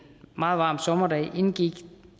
meget varm sommerdag indgik